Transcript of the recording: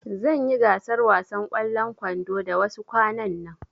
Zanyi gasar wasan ƙwallon kwando da wasu kwanan nan